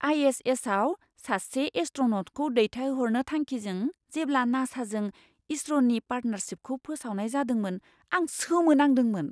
आइ.एस.एस.आव सासे एस्ट्र'न'टखौ दैथायहरनो थांखिजों जेब्ला नासाजों इसर'नि पार्टनारशिपखौ फोसावनाय जादोंमोन आं सोमोनांदोंमोन!